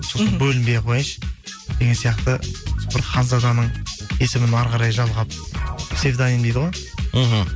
сосын бөлінбей ақ қояйыншы деген сияқты бір ханзаданың есімін әрі қарай жалғап псевдоним дейді ғой мхм